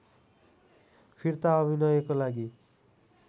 फिर्ता अभिनयको लागि